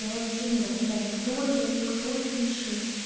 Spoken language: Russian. я вообще не разбираюсь кто ре кто фиши